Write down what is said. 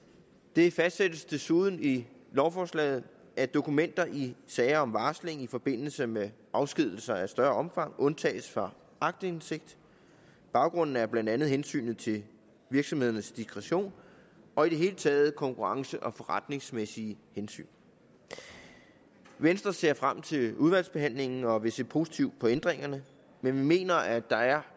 det fastsættes desuden i lovforslaget at dokumenter i sager om varsling i forbindelse med afskedigelser af større omfang undtages fra aktindsigt baggrunden er blandt andet hensynet til virksomhedernes diskretion og i det hele taget konkurrence og forretningsmæssige hensyn venstre ser frem til udvalgsbehandlingen og vil se positivt på ændringerne men vi mener at der er